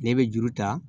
Ne bɛ juru ta